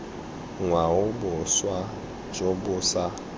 ngwao boswa jo bo sa